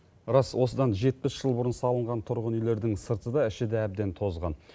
рас осыдан жетпіс жыл бұрын салынған тұрғын үйлердің сырты да іші де әбден тозған